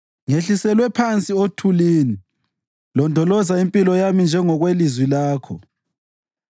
Ngehliselwe phansi othulini; londoloza impilo yami njengokwelizwi lakho.